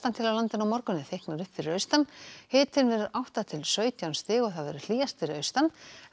til á landinu á morgun en þykknar upp fyrir austan hiti átta til sautján stig hlýjast fyrir austan